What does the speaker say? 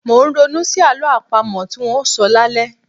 Mò ń ronú sí àlọ́ àpamọ tí ń óò sọ lálẹ́.